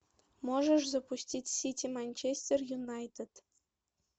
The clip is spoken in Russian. можешь запустить сити манчестер юнайтед